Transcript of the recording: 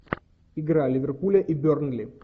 игра ливерпуля и бернли